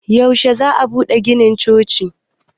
yaushe za a bude ginin chocin